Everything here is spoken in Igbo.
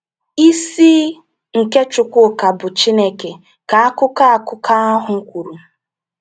“Isi nke Chukwuka bụ Chineke,” ka akụkọ akụkọ ahụ kwuru.